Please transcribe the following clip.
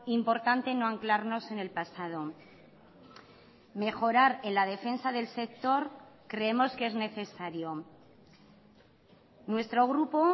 importante no anclarnos en el pasado mejorar en la defensa del sector creemos que es necesario nuestro grupo